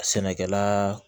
Sɛnɛkɛla